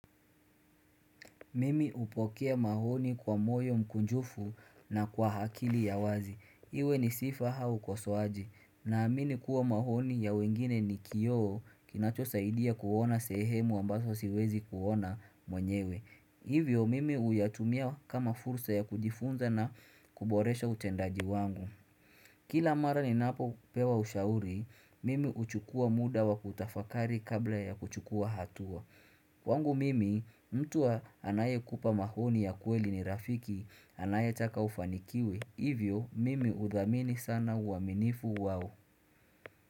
Mimi hupokea maoni kwa moyo mkunjufu na kwa akili ya wazi. Iwe ni sifa au kosoaji. Naamini kuwa maoni ya wengine ni kioo kinacho saidia kuona sehemu ambazo siwezi kuona mwenyewe. Hivyo mimi uyatumia kama fursa ya kujifunza na kuboresha utendaji wangu. Kila mara ninapo pewa ushauri, mimi huchukua muda wa kutafakari kabla ya kuchukua hatua. Kwangu mimi, mtuwa anaye kupa maoni ya kweli ni rafiki, anaye taka ufanikiwe, hivyo mimi udhamini sana uaminifu wao.